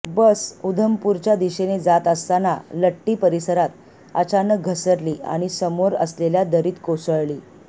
बस उधमपूरच्या दिशेने जात असतांना लट्टी परिसरात अचानक घसरली आणि समोर असलेल्या दरीत कोसळली